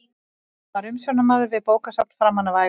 Hann var umsjónarmaður við bókasafn framan af ævinni.